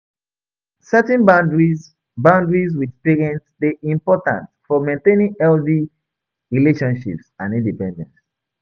Setting boundaries boundaries with parents dey important for maintaining healthy relationships and independence.